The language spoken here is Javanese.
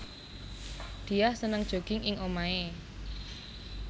Diah seneng jogging ing omahé